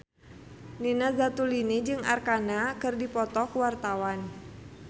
Nina Zatulini jeung Arkarna keur dipoto ku wartawan